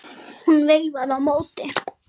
Hún veifaði á móti.